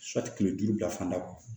kile duuru bila fanda